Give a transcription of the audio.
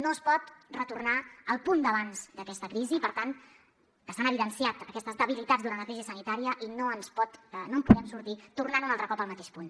no es pot retornar al punt d’abans d’aquesta crisi i per tant que s’han evidenciat aquestes debilitats durant la crisi sanitària i no en podem sortir tornant un altre cop al mateix punt